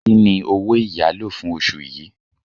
Kí ni owó ìyálò fún oṣù yìí?